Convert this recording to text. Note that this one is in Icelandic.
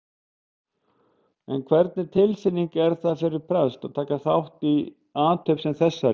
En hvernig tilfinning er það fyrir prest að taka þátt í athöfn sem þessari?